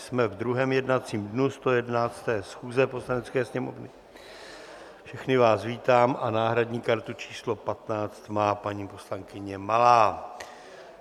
Jsme v druhém jednacím dnu 111. schůze Poslanecké sněmovny, všechny vás vítám a náhradní kartu číslo 15 má paní poslankyně Malá.